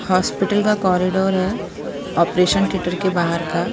Hospital का corridor है operation theatre के बाहर का।